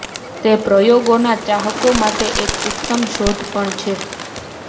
તે પ્રયોગોના ચાહકો માટે એક ઉત્તમ શોધ પણ છે